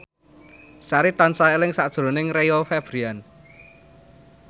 Sari tansah eling sakjroning Rio Febrian